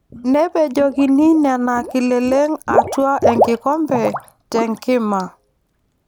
Nepejokini Nena kileleng atua enkikombe te nkima.